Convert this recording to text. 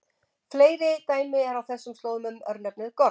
Fleiri dæmi eru á þessum slóðum um örnefnið Gorm.